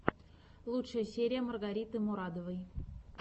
лучшая серия маргариты мурадовой